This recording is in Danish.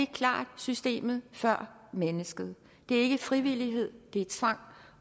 klart systemet før mennesket det er ikke frivillighed det er tvang